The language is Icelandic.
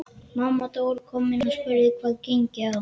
Mamma Dóra kom inn og spurði hvað gengi á.